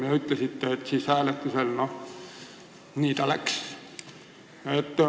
Te ütlesite ka, et hääletusel see nii läks.